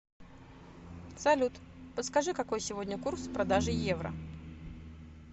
салют подскажи какой сегодня курс продажи евро